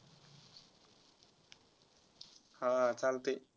हा चालतय.